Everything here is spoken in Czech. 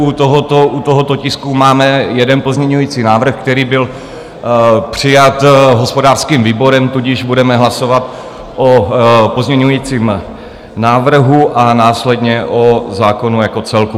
U tohoto tisku máme jeden pozměňovací návrh, který byl přijat hospodářským výborem, Tudíž budeme hlasovat o pozměňovacím návrhu a následně o zákonu jako celku.